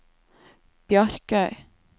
Bjarkøy